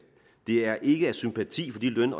det er ikke af sympati for de løn